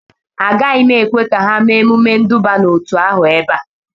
Agaghị m ekwe ka ha mee emume nduba n'otu ahụ ebe a